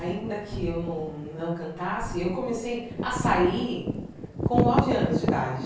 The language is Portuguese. Ainda que eu não não cantasse, eu comecei a sair com nove anos de idade.